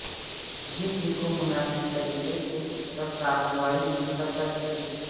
جسم کو مناسب طریقے سے اس پر کارروائی نہیں کر سکتے